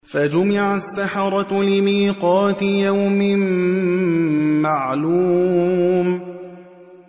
فَجُمِعَ السَّحَرَةُ لِمِيقَاتِ يَوْمٍ مَّعْلُومٍ